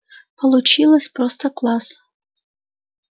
получилось просто класс